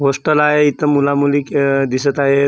Hostel आहे इथं मुला-मुली क दिसत आहे.